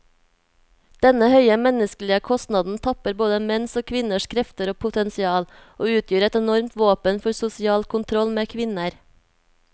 Denne høye menneskelige kostnaden tapper både menns og kvinners krefter og potensial, og utgjør et enormt våpen for sosial kontroll med kvinner.